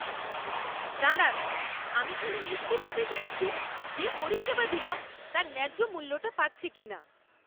দাঁড়ান, আমি খালি নিশ্চিত হতে চাইছি যে পরিষেবা দিলাম তার ন্যায্য মূল্যটা পাচ্ছি কিনা।